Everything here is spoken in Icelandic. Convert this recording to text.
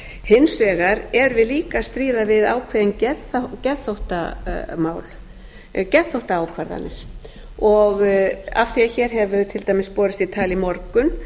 hins vegar erum við líka að stríða við ákveðnar geðþóttaákvarðanir og af því að hér hefur til dæmis borist í tal í morgun